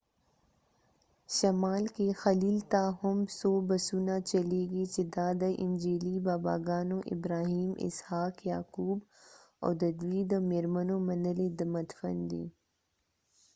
شمال کې خلیل ته هم څو بسونه چلیږي چې دا د انجیلي باباګانو ابراهیم اسحاق یعقوب او د دوی د مېرمنو منلی مدفن دی